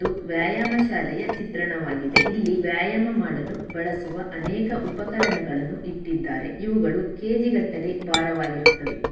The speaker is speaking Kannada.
ಇದು ವ್ಯಾಯಾಮ ಶಾಲೆಯ ಚಿತ್ರಣವಾಗಿದೆ. ಇಲ್ಲಿ ವ್ಯಾಯಾಮ ಮಾಡಲು ಬಳಸುವ ಅನೇಕ ಉಪಕರಣಗಳನ್ನು ಇಟ್ಟಿದ್ದಾರೆ. ಇವುಗಳು ಕೆ_ಜಿ ಗಟ್ಟಲೆ ಬಾರವಾಗಿರುತ್ತವೆ.